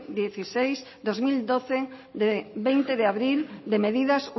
dieciséis barra dos mil doce de veinte de abril de medidas